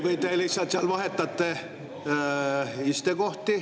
Või te lihtsalt seal vahetate kohti?